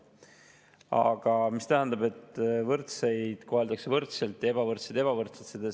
Aga mida tähendab, et võrdseid koheldakse võrdselt ja ebavõrdseid ebavõrdselt?